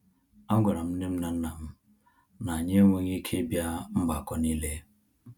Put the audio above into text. A gwara m nnem na nnam na-anya enweghị ike ịbịa mgbakọ n'ile